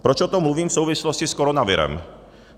Proč o tom mluvím v souvislosti s koronavirem?